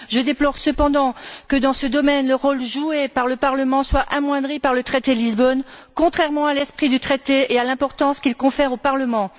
Je déplore cependant que, dans ce domaine, le rôle joué par le Parlement soit amoindri par le traité de Lisbonne, contrairement à l'esprit du Traité et à l'importance qu'il confère au Parlement.